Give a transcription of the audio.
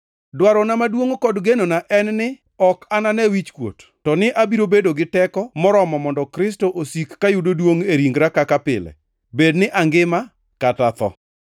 Dwarona maduongʼ kod genona en ni ok anane wichkuot, to ni abiro bedo gi teko moromo mondo Kristo osik ka yudo duongʼ e ringra kaka pile, bed ni angima kata atho.